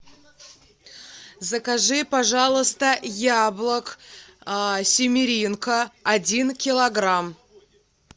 закажи пожалуйста яблок симеренко один килограмм